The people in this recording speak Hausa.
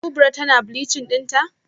Kubra tana bleaching dinta?